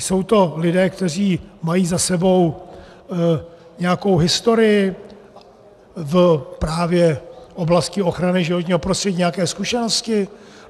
Jsou to lidé, kteří mají za sebou nějakou historii právě v oblasti ochrany životního prostředí, nějaké zkušenosti?